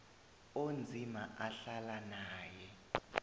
onzima ahlala naye